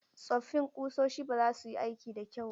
Tsoffin kusoshi ba za su yi aikin da kyau ba.